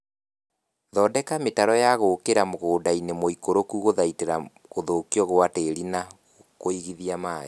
Thondeka mĩtaro ya gũkĩra mũgũndainĩ mũikũrũku gũthaitĩra gũthukio gwa tĩri na kũigithia maĩĩ